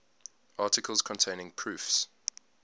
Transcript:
articles containing proofs